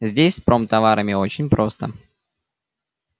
здесь с промтоварами очень просто